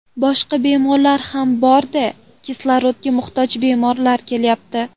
Boshqa bemorlar ham bor-da, kislorodga muhtoj bemorlar kelyapti.